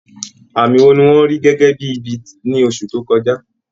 Àmì wo ni wọ́n rí gẹ́gẹ́ bí ibi ní oṣù tó kọjá?